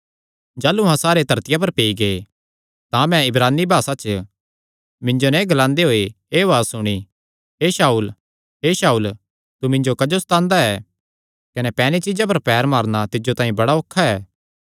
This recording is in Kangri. जाह़लू अहां सारे धरतिया पर पेई गै तां मैं इब्रानी भासा च मिन्जो नैं एह़ ग्लांदे होये एह़ उआज़ सुणी हे शाऊल हे शाऊल तू मिन्जो क्जो सतांदा ऐ कने पैनी चीज्जा पर पैर मारणा तिज्जो तांई बड़ा औखा ऐ